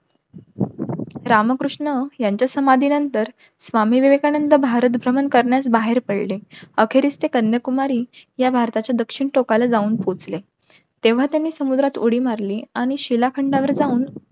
रामकृष्ण यांच्या समाधी नंतर स्वामी विवेकानंद भारत भ्रमण करण्यास बाहेर पडले. अखेरीस ते कन्या कुमारी या भारताच्या दक्षिण टोकाला जाऊन पोहचले. तेव्हा त्यांनी समुद्रात उडी मारली, आणि शिळा खंडावर जाऊन